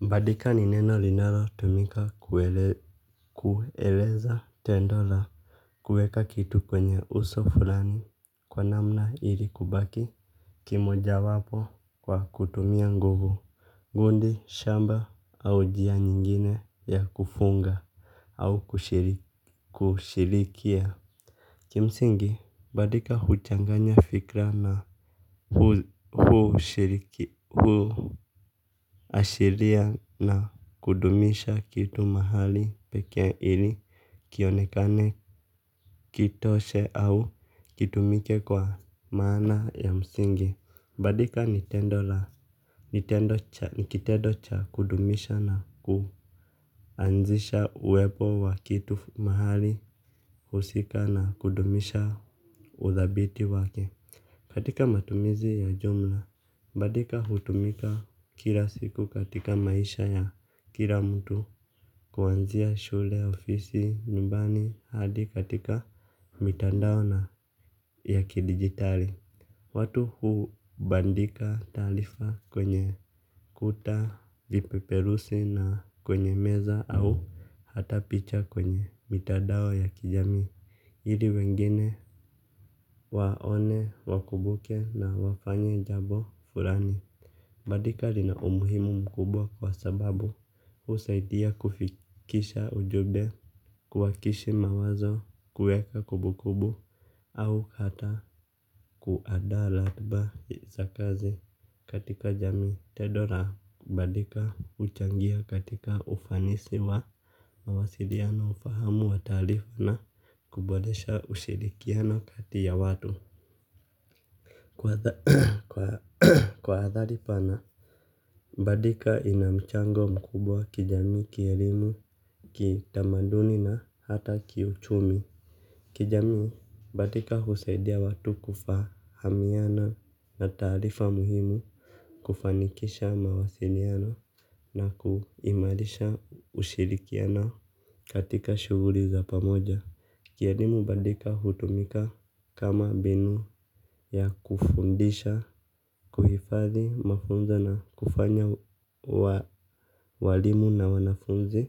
Bandika ni neno linalotumika kueleza tendo la kuweka kitu kwenye uso fulani kwa namna ili kubaki. Kimoja wapo kwa kutumia nguvu. Gundi shamba au njia nyingine ya kufunga. Au kushirikia kimsingi badika huchanganya fikra na huu shiriki huu ashiria na kudumisha kitu mahali pekee ili kionekane kitoshe au kitumike kwa maana ya msingi. Badika ni kitendo cha kudumisha na kuanzisha uwepo wa kitu mahali husika na kudumisha uthabiti wake. Katika matumizi ya jumla, badika hutumika kila siku katika maisha ya kila mtu kuanzia shule ofisi nyumbani hadi katika mitandao na ya kidigitali. Watu hubandika taarifa kwenye kuta, vipeperusi na kwenye meza au hata picha kwenye mitandao ya kijamii. Ili wengine waone, wakumbuke na wafanye jambo fulani. Badika lina umuhimu mkubwa kwa sababu usaidia kufikisha ujumbe kuwakishi mawazo kuweka kumbu kumbu au hata kuandaa ratiba za kazi katika jamii tendo la badika huchangia katika ufanisi wa mawasiliana ufahamu wa taarifa na kuboresha ushirikiano kati ya watu. Kwa hadhari pana, badika ina mchango mkubwa wa kijami, kielimu, kitamaduni na hata kiuchumi. Kijamii, bandika husaidia watu kufahamiana na taarifa muhimu kufanikisha mawasiliano na kuimarisha ushirikiano katika shuguli za pamoja. Kielimu badika hutumika kama mbinu ya kufundisha, kuhifadhi, mafunzo na kufanya walimu na wanafunzi,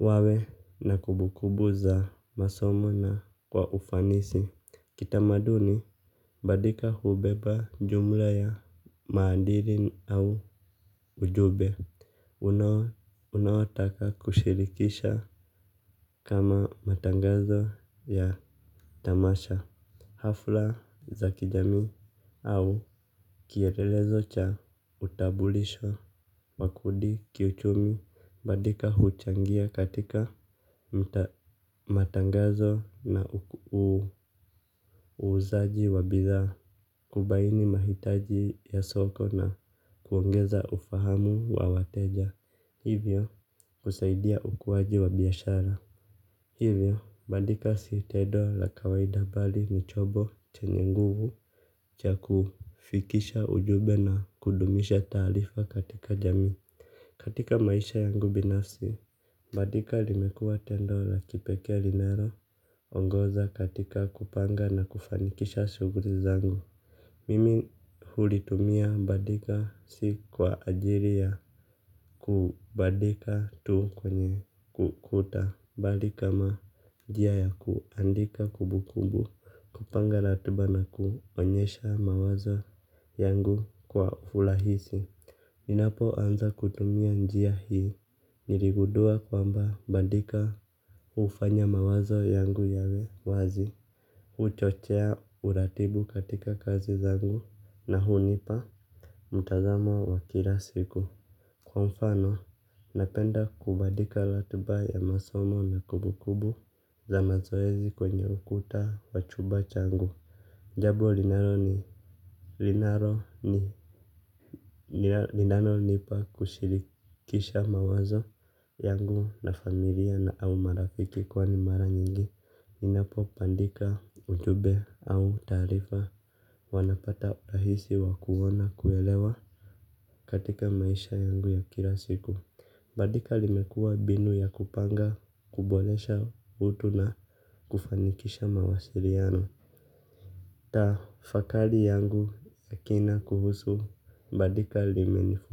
wawe na kumbukumbu za masomo na kwa ufanisi. Kitamaduni badika hubeba jumla ya maadili au ujumbe. Unayotaka kushirikisha kama matangazo ya tamasha hafla za kijamii au kielelezo cha utambulisho wa kundi kiuchumi. Badika huchangia katika matangazo na uuzaji wa bidhaa kubaini mahitaji ya soko na kuongeza ufahamu wa wateja. Hivyo, kusaidia ukuaji wa biashara. Hivyo, badika si tendo la kawaida bali ni chombo chenye nguvu cha kufikisha ujumbe na kudumisha taarifa katika jamii. Katika maisha yangu binasi, badika limekuwa tendo la kipekee linaloongoza katika kupanga na kufanikisha shuguli zangu. Mimi hulitumia bandika si kwa ajili ya kubandika tu kwenye ukuta. Mahali kama njia ya kuandika kumbukumbu. Kupanga ratiba na kuonyesha mawazo yangu kwa urahisi. Ninapo anza kutumia njia hii. Niligudua kwamba bandika hufanya mawazo yangu yawe wazi. Huchochea uratibu katika kazi zangu na hunipa mtazamo wa kila siku kwa mfano napenda kubandika ratiba ya masomo na kumbukumbu za mazoezi kwenye ukuta wa chumba changu. Jambo linalonipa kushirikisha mawazo yangu na familia na au marafiki kwani mara nyingi ninapo bandika ujumbe au taarifa huwa napata urahisi wa kuona kuelewa katika maisha yangu ya kila siku. Badika limekuwa mbinu ya kupanga kuboresha utu na kufanikisha mawasiliano. Tafakari yangu ya kina kuhusu badika limenifu.